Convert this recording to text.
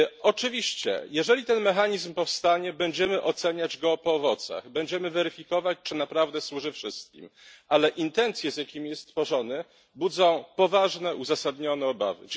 Oczywiście, jeżeli ten mechanizm powstanie, będziemy oceniać go po owocach, będziemy weryfikować, czy naprawdę służy wszystkim, jednak intencje, z jakimi jest tworzony, budzą poważne, uzasadnione obawy.